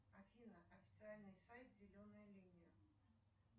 афина официальный сайт зеленая линия